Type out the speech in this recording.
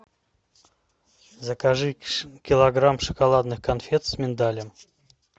закажи килограмм шоколадных конфет с миндалем